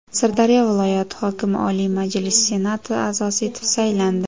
Sirdaryo viloyati hokimi Oliy Majlis Senati a’zosi etib saylandi.